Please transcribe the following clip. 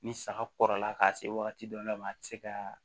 Ni saga kɔrɔla ka se wagati dɔ la ma a ti se ka